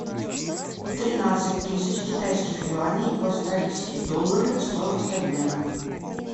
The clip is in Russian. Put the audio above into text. тринадцать тысяч китайских юаней в австралийские доллары стоимость обмена